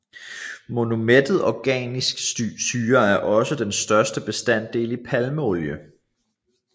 Monoumættet organisk syre er også den største bestanddel i palmeolie